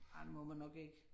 Ej det må man nok ikke